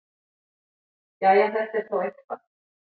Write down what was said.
Jæja, þetta er þó eitthvað.